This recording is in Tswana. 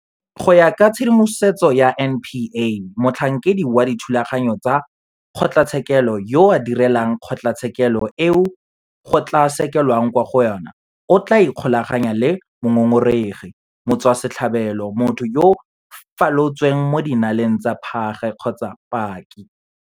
Go ya ka tshedimosetso ya NPA, motlhankedi wa dithulaganyo tsa kgotlatshekelo yo a direlang kgotlatshekelo eo go tla sekelwang kwa go yona o tla ikgolaganya le mongongoregi, motswasetlhabelo, motho yo a falotseng mo dinaleng tsa phage kgotsa paki.